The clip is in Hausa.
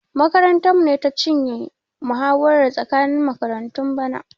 Makarantarmu ce ta cinye muhawara tsakanin makaratun bana.